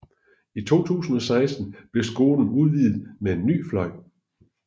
I 2016 blev skolen udvidet med en ny fløj